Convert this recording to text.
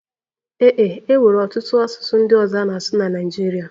Ee e, e nwere ọtụtụ asụsụ ndị ọzọ a na-asụ na Naịjirịa